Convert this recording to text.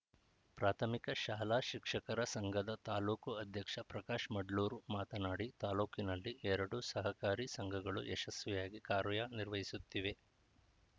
ಪ್ರಾಥಮಿಕ ಶಾಲಾ ಶಿಕ್ಷಕರ ಸಂಘದ ತಾಲೂಕು ಅಧ್ಯಕ್ಷ ಪ್ರಕಾಶ್‌ ಮಡ್ಲೂರ್‌ ಮಾತನಾಡಿ ತಾಲೂಕಿನಲ್ಲಿ ಎರಡು ಸಹಕಾರಿ ಸಂಘಗಳು ಯಶಸ್ವಿಯಾಗಿ ಕಾರ್ಯನಿರ್ವಹಿಸುತ್ತಿವೆ